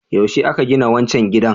Yaushe aka gina wancan gidan?